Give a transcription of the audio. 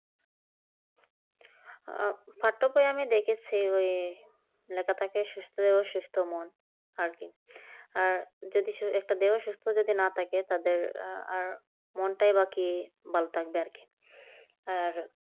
আহ পাঠক ভাই আমি দেখেছি ওই লেখা থাকে সুস্থ দেহ সুস্থ মন আর কি আর দেহ যদি সুস্থ না থাকে তাদের আরা মনটাই বাকি ভালো থাকবে আর কি আর